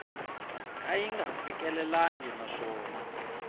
ka yi nga fikelelangi naswona